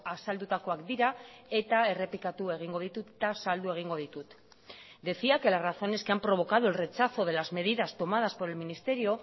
azaldutakoak dira eta errepikatu egingo ditut eta zaldu egingo ditut decía que las razones que han provocado el rechazo de las medidas tomadas por el ministerio